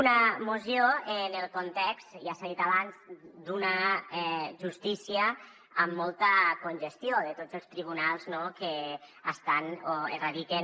una moció en el context ja s’ha dit abans d’una justícia amb molta congestió de tots els tribunals que estan o radiquen